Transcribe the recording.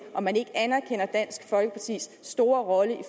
om man ikke anerkender dansk folkepartis store rolle i